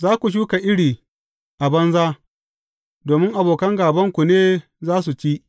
Za ku shuka iri a banza, domin abokan gābanku ne za su ci.